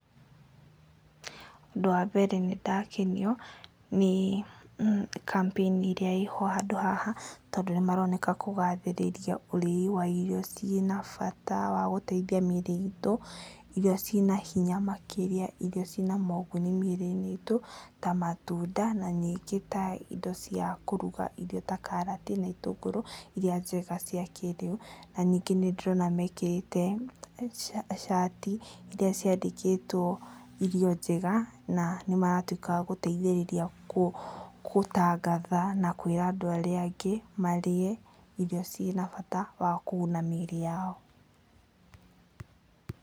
Ũndũ wa mbere, nĩndakenio nĩ kambĩini ĩrĩa ĩho handũ haha tondũ nĩ maroneka kũgathĩrĩria ũrĩi wa irio ciĩ na bata wa gũteithia mĩĩrĩ itũ, irio ciĩ na hinya makĩria, irio ciĩ na moguni mĩĩrĩ-inĩ itũ ta matunda na ningĩ ta indo cia kũruga-Irio ta karati na itũngũrũ iria njega cia kĩrĩu, na ningĩ nĩ ndĩrona mekĩrĩte cati iria ciandĩkĩtwo'Irio njega' na nĩ maratuĩka a gũteithĩrĩria gũtangatha na kwĩra andũ arĩa angĩ marĩe irio ciĩ na bata wa kũguna mĩĩrĩ yao.